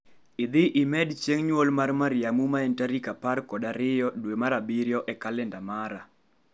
Idhi medi chieng' nyuol mar mar Mariamu ma en tarik apar kod ariyo dwe mar abirio e kalenda mara